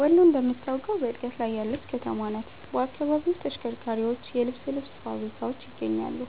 ወሎ እንደምታውቀው በእድገት ላይ ያለች ከተማ ናት። በአካባቢው ተሽከርካሪዎች፣ የልብስ ልብስ ፋብሪካዎች ይገኛሉ።